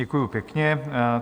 Děkuji pěkně.